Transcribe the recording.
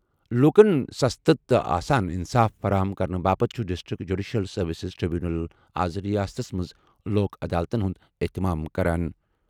لوٗکَن سستہٕ تہٕ آسان انصاف فراہم کرنہٕ باپتھ چھُ ڈِسٹرکٹ جوڈیشیل سروسز ٹریبونل آز ریاستَس منٛز لوک عدالتَن ہُنٛد اہتمام کران۔